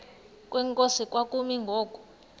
kwenkosi kwakumi ngoku